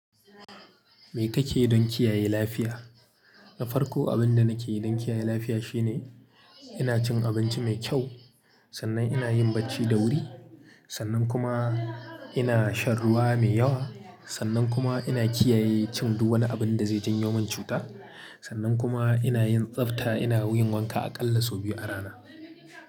Me kake yi don kiyaye lafiya? Na farko, abin da nake yi don kiyaye lafiya shine ina cin abinci mai kyau, sannan ina yin bacci da wuri, sannan kuma ina shan ruwa mai yawa, sannan kuma ina kiyaye cin duk wani abin da zai janyo min cuta. Sannan kuma ina yin tsafta, ina wuyin wanka aƙalla sau biyu a rana.